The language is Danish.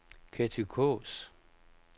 Ketty Kaas